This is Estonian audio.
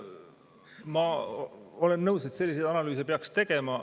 Ma olen nõus, et selliseid analüüse peaks tegema.